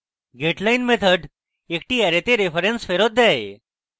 getline method একটি অ্যারেতে reference ফেরৎ দেয়